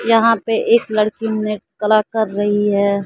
यहां पे एक लड़की नृत्य कला कर रही है।